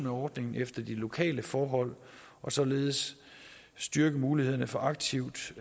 af ordningen efter de lokale forhold og således styrke mulighederne for aktivt